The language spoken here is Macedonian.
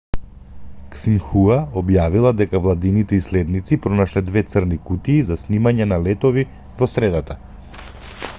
ксинхуа објавила дека владините иследници пронашле две црни кутии за снимање на летови во средата